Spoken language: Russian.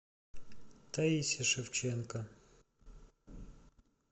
таисе шевченко